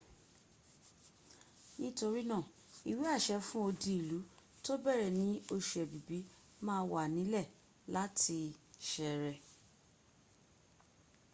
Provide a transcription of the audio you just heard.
torinaa iwease fun odiilu to bere ni osu ebibi ma w anile lati sere